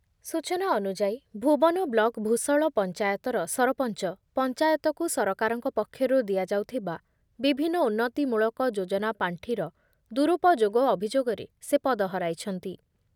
ସୂଚନା ଅନୁଯାୟୀ, ଭୁବନ ବ୍ଲକ ଭୂଷଳ ପଞ୍ଚାୟତର ସରପଞ୍ଚ ପଞ୍ଚାୟତକୁ ସରକାରଙ୍କ ପକ୍ଷରୁ ଦିଆଯାଉଥିବା ବିଭିନ୍ନ ଉନ୍ନତି ମୂଳକ ଯୋଜନା ପାଣ୍ଠିର ଦୁରୁପୋଯୋଗ ଅଭିଯୋଗରେ ସେ ପଦ ହରାଇଛନ୍ତି